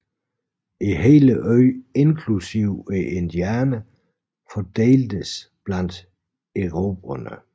Hele øen inklusive indianerne fordeltes blandt erobrerne